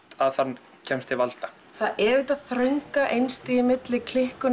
að það kemst til valda það er þetta þrönga einstigi milli